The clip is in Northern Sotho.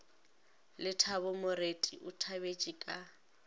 lethabo moreti o thabetše ka